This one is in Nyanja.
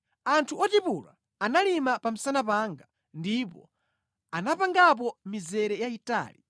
Anthu otipula analima pa msana panga ndipo anapangapo mizere yayitali: